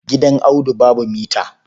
Gidan Audu babu mita.